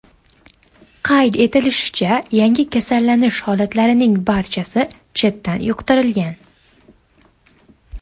Qayd etilishicha, yangi kasallanish holatlarining barchasi chetdan yuqtirilgan.